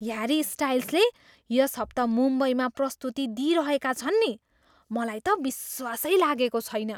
Harry स्टाइल्सले यस हप्ता मुम्बईमा प्रस्तुति दिइरहेका छन् नि। मलाई त विश्वासै लागेको छैन।